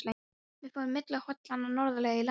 Við förum milli hólanna norðarlega í Landbroti.